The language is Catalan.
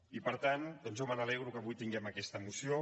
i per tant jo me n’alegro que avui tinguem aquesta moció